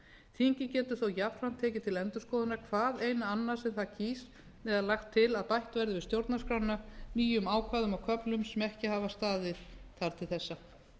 þingið getur þó jafnframt tekið til endurskoðunar hvaðeina annað sem það kýs eða lagt til að bætt verði við stjórnarskrána nýjum ákvæðum og köflum sem ekki hafa staðið þar til þessa